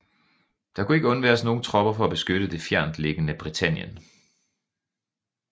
Der kunne ikke undværes nogen tropper for at beskytte det fjerntliggende Britannien